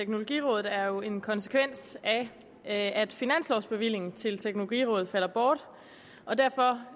teknologirådet er jo en konsekvens af at finanslovbevillingen til teknologirådet falder bort og derfor